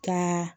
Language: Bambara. Ka